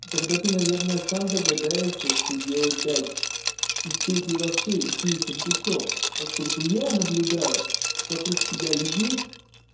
тогда ты наверное сам догадаешься что делать дальше и стоит ли вообще идти этим путём поскольку я наблюдаю вокруг себя людей